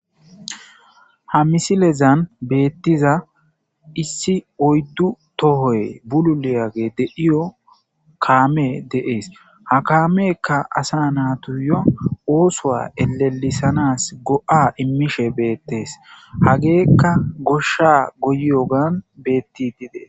ha misilezan beettiza issi oyddu tohoy bululeyage de7iyo kaame deees ha kaamekka asa naatuyo oosoa elelisanas go7a immishe beettees hageekka goshsha goyyogan beetti dide